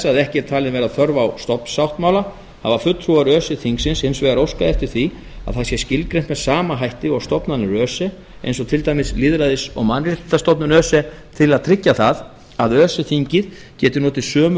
að ekki er talin vera þörf á stofnsáttmála hafa fulltrúar öse þingsins hins vegar óskað eftir því að það sé skilgreint með sama hætti og stofnanir öse eins og til dæmis lýðræðis og mannréttindastofnun öse til að tryggja það að öse þingið geti notið sömu